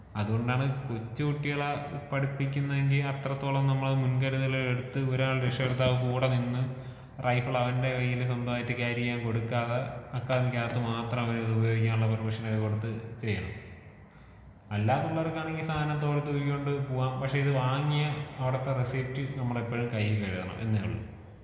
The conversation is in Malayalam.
അത് കൊണ്ടാണ് കൊച്ചു കുട്ടികളെ പഠിപ്പിക്കുന്നെങ്കി അത്രത്തോളം നമ്മള് മുൻകരുതല് എടുത്ത് ഒരാള് രക്ഷകര്‍ത്താവ് കൂടെ നിന്ന് റൈഫിൾ അവന്റെ കയ്യിൽ സ്വന്തമായി ക്യാരി ചെയ്യാൻ കൊടുക്കാതെ, അക്കാഡമിക്ക് അകത്തു മാത്രം അവന് ഉപയോഗിക്കാനുള്ള പെർമിഷൻ ഒക്കെ കൊടുത്ത് ചെയ്യണം. അല്ലാന്നുള്ളവര്‍ക്ക് ആണെങ്കില്‍ സാധനം തോളത്ത് തൂക്കി കൊണ്ട് പോവാം.പക്ഷേ ഇത് വാങ്ങിയ അവിടുത്തെ റെസീപ്റ്റ് നമ്മളെപ്പഴും കയ്യില് കരുതണം എന്നേയുള്ളു.